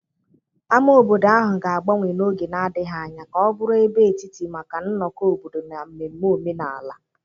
Ámá obodo ahụ ga-agbanwe n'oge na-adịghị anya ka ọ bụrụ ebe etiti maka nnọkọ obodo na mmemme omenala.